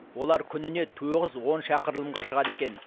олар күніне тоғыз он шақырылымға шығады екен